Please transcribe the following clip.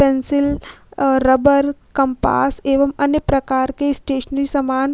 pencil आ rubber compass एवं अन्य प्रकार के स्टेशनरी सामान --